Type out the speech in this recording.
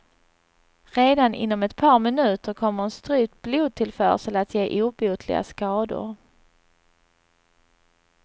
Redan inom ett par minuter kommer en strypt blodtillförsel att ge obotliga skador.